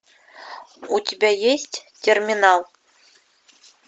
у тебя есть терминал